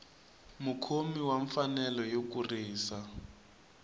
mukhomi wa mfanelo yo kurisa